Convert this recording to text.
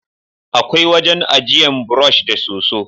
Akwai wajen ajiyan burosh da soso